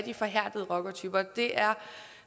er forhærdede rockertyper det er